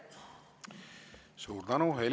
Suur tänu!